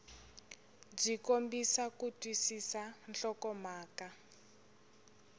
byi kombisa ku twisisa nhlokomhaka